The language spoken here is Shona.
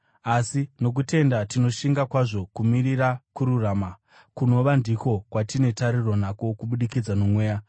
Asi nokutenda tinoshinga kwazvo kumirira kururama, kunova ndiko kwatine tariro nako kubudikidza noMweya.